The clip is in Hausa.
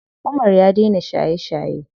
Umar ya daina shaye shaye.